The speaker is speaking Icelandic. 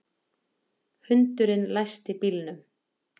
Hundurinn læsti bílnum